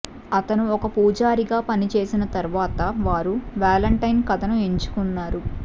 అతను ఒక పూజారిగా పనిచేసిన తరువాత వారు వాలెంటైన్ కథను ఎంచుకున్నారు